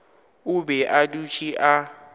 o be a dutše a